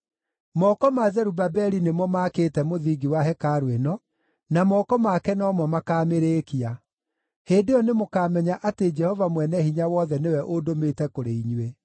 “Moko ma Zerubabeli nĩmo maakĩte mũthingi wa hekarũ ĩno, na moko make no mo makaamĩrĩkia. Hĩndĩ ĩyo nĩmũkamenya atĩ Jehova Mwene-Hinya-Wothe nĩwe ũndũmĩte kũrĩ inyuĩ.